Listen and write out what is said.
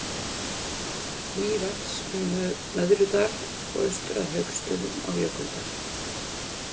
Mývatns, um Möðrudal og austur að Hauksstöðum á Jökuldal.